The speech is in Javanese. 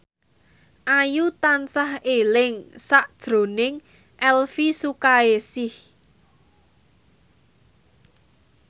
Ayu tansah eling sakjroning Elvi Sukaesih